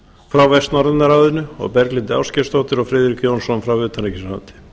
frá vestnorræna ráðinu og berglindi ásgeirsdóttur og friðrik jónsson frá utanríkisráðuneyti